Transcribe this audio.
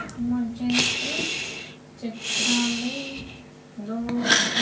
मुझे इस चित्र में दो--